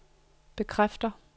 bekræfter